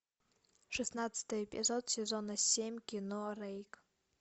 шестнадцатый эпизод сезона семь кино рейк